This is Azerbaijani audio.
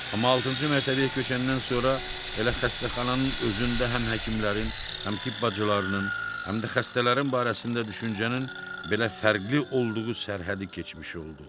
Amma altıncı mərtəbəyə köçəndən sonra elə xəstəxananın özündə həm həkimlərin, həm tibb bacılarının, həm də xəstələrin barəsində düşüncənin belə fərqli olduğu sərhədi keçmiş oldu.